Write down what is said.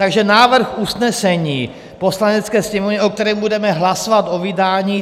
Takže návrh usnesení Poslanecké sněmovny, o kterém budeme hlasovat o vydání.